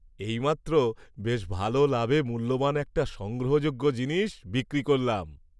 এইমাত্র বেশ ভালো লাভে মূল্যবান একটা সংগ্রহযোগ্য জিনিস বিক্রি করলাম।